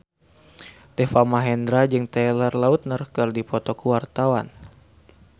Deva Mahendra jeung Taylor Lautner keur dipoto ku wartawan